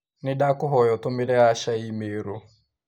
Nĩndakũhoya ũtũmĩre Asha i-mīrū